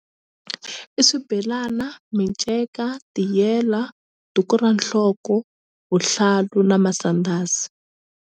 I swibelana miceka tiyela duku ra nhloko vuhlalu na masandhazi.